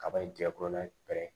Kaba in jɛnkurun na pɛrɛn